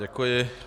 Děkuji.